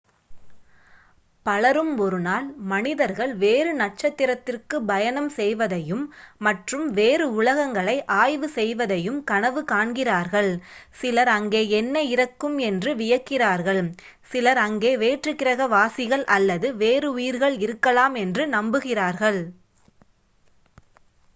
பலரும் ஒருநாள் மனிதர்கள் வேறு நட்சத்திரதிற்குப் பயணம் செய்வதையும் மற்றும் வேறு உலகங்களை ஆய்வு செய்வதையும் கனவு காண்கிறார்கள் சிலர் அங்கே என்ன இருக்கும் என்று வியக்கிறார்கள் சிலர் அங்கே வேற்றுக்கிரக வாசிகள் அல்லது வேறு உயிர்கள் இருக்கலாம் என்று நம்புகிறார்கள்